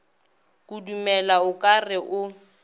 kudumela o ka re o